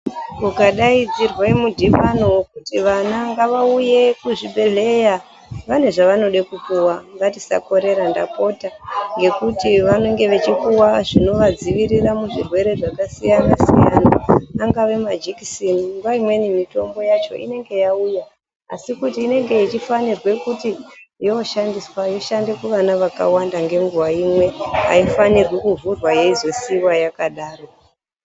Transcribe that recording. Ukadaidzirwa mudhibano vekuti vana ngavauye kuzvibhedhleya vane zvavanode kupuva ngatisa korera ndapota. Ngekuti vanenge vachipuva zvinovadzivirira muzvirwere zvakasiyana-siyana, angava majekiseni nguwa imweni mitombo yacho inenge yauya. Asi inenge ichifanirwa kuti yoshandiswa yoshande kuvana vakawanda ngenguwa imwe, Haifanirwi kuvhurwa yozosiva yakadaro.